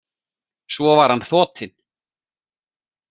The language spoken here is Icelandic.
Svo var hann þotinn.